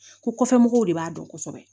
Ko kɔfɛ mɔgɔw de b'a dɔn kosɛbɛ